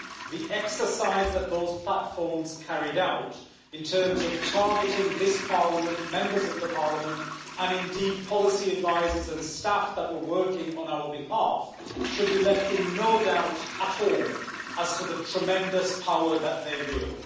the exercise that those platforms carried out in terms of targeting this Parliament, Members of Parliament, and indeed, policy advisors and staff that were working on our behalf, should leave them in no doubt at all as to the tremendous power that they wield.